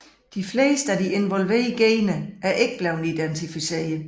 De fleste af de involverede gener er ikke blevet identificeret